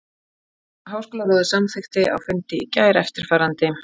Háskólaráðið samþykkti á fundi í gær eftirfarandi